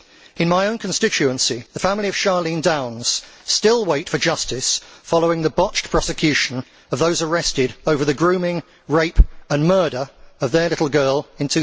In my own constituency, the family of Charlene Downs still waits for justice following the botched prosecution of those arrested over the grooming, rape and murder of their little girl in